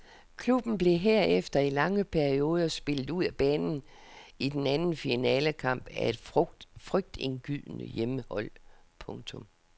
Klubben blev herefter i lange perioder spillet ud af banen i den anden finalekamp af et frygtindgydende hjemmehold. punktum